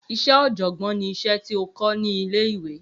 Iṣẹ́ oọ̀jọ̀gbọ́n ni iṣẹ́ tí o kọ́ ní ilé ìwé